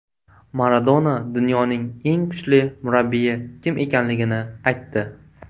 Maradona dunyoning eng kuchli murabbiyi kim ekanligini aytdi.